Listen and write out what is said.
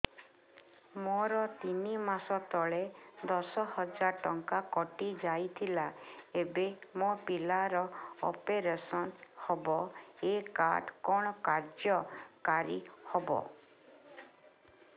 ମୋର ତିନି ମାସ ତଳେ ଦଶ ହଜାର ଟଙ୍କା କଟି ଯାଇଥିଲା ଏବେ ମୋ ପିଲା ର ଅପେରସନ ହବ ଏ କାର୍ଡ କଣ କାର୍ଯ୍ୟ କାରି ହବ